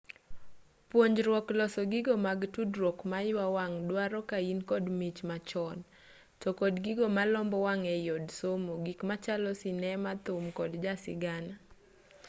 punjruok loso gigo mag tudruok maywa wang duaro kain kod mich machon to kod gigo malombo wang ei od somo gik machalo sinema thum kod jasigana